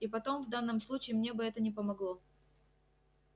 и потом в данном случае мне бы это не помогло